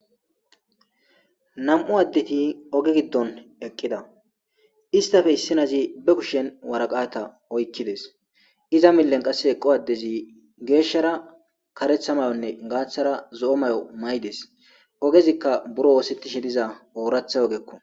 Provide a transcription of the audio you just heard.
Nam'u adet oge gidon eqida , istappe issinaz be kushen waraqata oykades, iza milen eqo adez geshara karetha mayo mayides ovezika buro osetishe diza oratha ogeko.